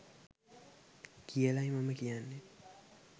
කියලයි මම කියන්නෙ.